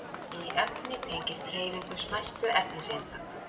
Hiti í efni tengist hreyfingu smæstu efniseinda.